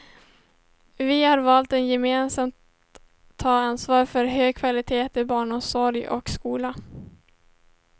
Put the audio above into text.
Vi har valt att gemensamt ta ansvar för en hög kvalitet i barnomsorg och skola.